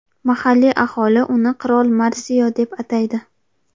Mahalliy aholi uni Qirol Marsio deb ataydi.